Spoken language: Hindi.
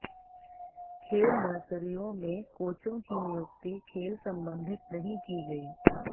खेल नर्सरियों में कोचों की नियुक्ति खेल संबंधित नहीं की गई